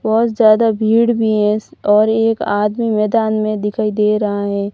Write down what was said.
बहोत ज्यादा भीड़ भी है और एक आदमी मैदान में दिखाई दे रहा है।